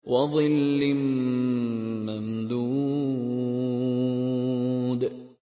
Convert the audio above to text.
وَظِلٍّ مَّمْدُودٍ